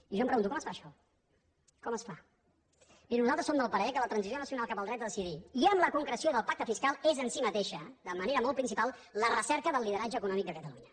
i jo em pregunto com es fa això com es fa mirin nosaltres som del parer que la transició nacional cap al dret a decidir i amb la concreció del pacte fiscal és en si mateixa de manera molt principal la recerca del lideratge econòmic de catalunya